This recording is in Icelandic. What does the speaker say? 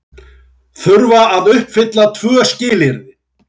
Þurfa að uppfylla tvö skilyrði